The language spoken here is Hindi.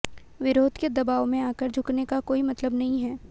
विरोध के दबाव में आकर झुकने का कोई मतलब नहीं है